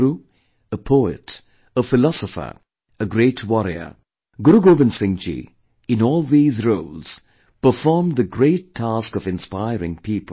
A guru, a poet, a philosopher, a great warrior, Guru Gobind Singh ji, in all these roles, performed the great task of inspiring people